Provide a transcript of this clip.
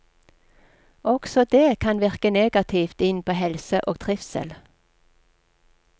Også det kan virke negativt inn på helse og trivsel.